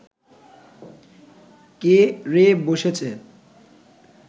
কে রে বসেছে